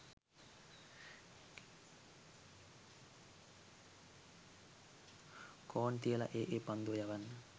කෝන් තියල ඒ ඒ පන්දුව යවල